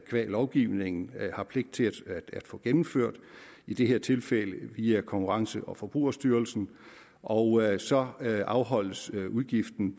lovgivningen har pligt til at få gennemført i det her tilfælde via konkurrence og forbrugerstyrelsen og så afholdes udgiften